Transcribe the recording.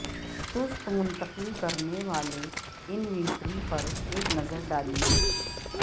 سست منتقل کرنے والے انوینٹری پر ایک نظر ڈالیں